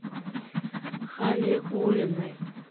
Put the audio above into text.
халиуллиной